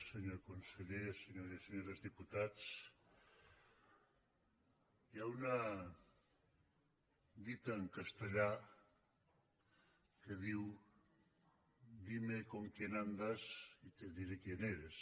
senyor conseller senyores i senyors diputats hi ha una dita en castellà que diu dime con quién andas y te diré quién eres